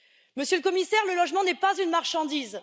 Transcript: Monsieur le Commissaire, le logement n'est pas une marchandise.